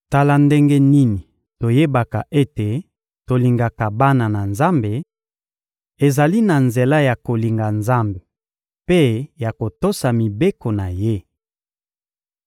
Tala ndenge nini toyebaka ete tolingaka bana na Nzambe: ezali na nzela ya kolinga Nzambe mpe ya kotosa mibeko na Ye.